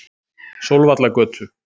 Sólvallagötu